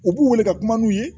U b'u wele ka kuma n'u ye